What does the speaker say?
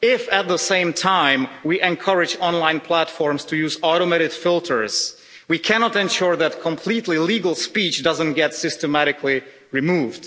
if at the same time we encourage online platforms to use automated filters, we cannot ensure that completely legal speech doesn't get systematically removed.